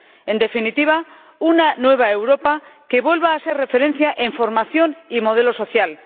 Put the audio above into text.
En definitiva, una nueva Europa que vuelva a ser referencia en formación y modelo social